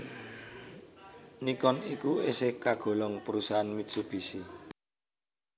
Nikon iku esih kagolong perusahaan Mitsubishi